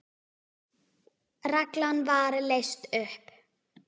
Reglan var leyst upp.